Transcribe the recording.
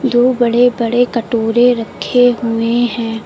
दो बड़े बड़े कटोरे रखे हुए हैं।